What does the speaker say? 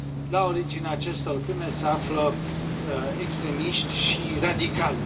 La originea acestor crime se află extremiști și radicali.